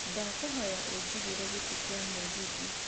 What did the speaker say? ndakũhoya unjigĩre gĩti gia mũgithi